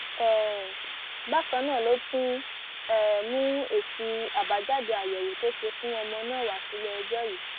um bákan náà ló tún um mú èsì àbájáde àyẹwò tó ṣe fún ọmọ náà wá síléẹjọ yìí